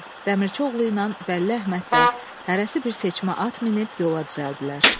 Dəmirçioğluyla Bəlli Əhməd də hərəsi bir seçmə at minib yola düzəldilər.